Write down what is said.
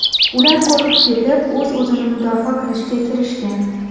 Ular qo‘rqib ketib, o‘z-o‘zini mudofaa qilishga kirishgan.